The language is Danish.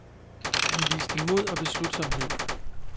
Han viste mod og beslutsomhed.